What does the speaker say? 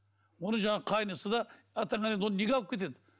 оны жаңағы қайнысы да атаңа нәлет оны неге алып кетеді